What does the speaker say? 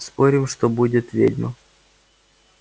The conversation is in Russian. спорим что будет ведьма